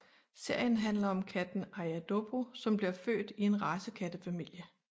Serien handler om katten Aja Dobbo som bliver født i en racekattefamilie